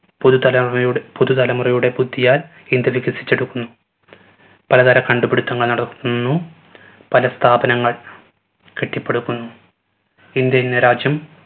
പുതു തലവയുടെ തലമുറയുടെ ബുദ്ധിയാൽ ഇന്ത്യ വികസിച്ചെടുക്കുന്നു. പല തര കണ്ടുപിടിത്തങ്ങൾ നടക്കുന്നു. പല സ്ഥാപനങ്ങൾ കെട്ടിപ്പടുക്കുന്നു ഇന്ത്യ എന്ന രാജ്യം